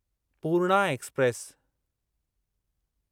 Purna express